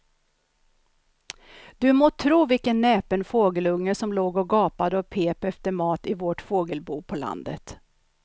Du må tro vilken näpen fågelunge som låg och gapade och pep efter mat i vårt fågelbo på landet.